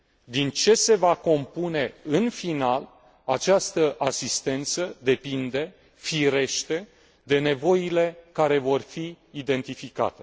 Din ce se va compune, în final, această asistență depinde, firește, de nevoile care vor fi identificate.